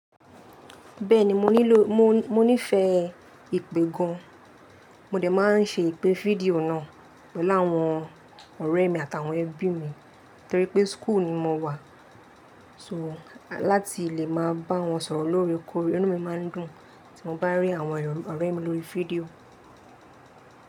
Bẹ́ẹ̀ni, mo nílò, mo, mo nífẹ̀ẹ́ ìpè gan. Mò dẹ máa ń ṣe ìpè fídíò náà pẹ̀lú àwọn ọ̀rẹ́ mi àtàwọn ẹbí mi torí pé school ni mo wà. So, láti lè máa bá wọn sọ̀rọ̀ lóore kóore. Inú mi máa ń dùn tí mo bá ń rí àwọn ọ̀rẹ́ mi lórí fídíò.